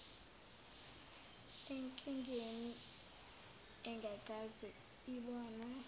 enkingeni engakaze ibonwe